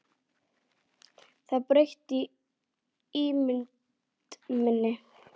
Það breytti ímynd minni.